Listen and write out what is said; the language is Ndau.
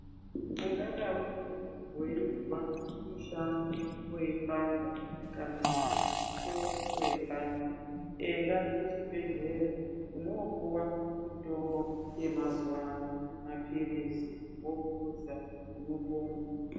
Ungadaroko weizwa mushana weipanda kana kuti musoro weipanda , enda kuchibhedhlera unoopuwa mutombo yemazuwa ano mapirizi wopuza unopona .